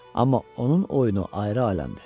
Amma onun oyunu ayrı aləmdir.